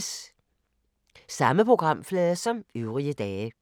Samme programflade som øvrige dage